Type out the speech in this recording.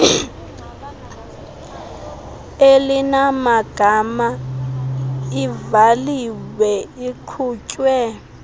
elinamagama ivaliwe iqhutywe